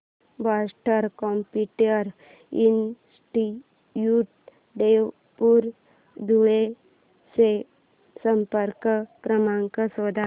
Boston computer institute Devpur Dhule चा संपर्क क्रमांक शोध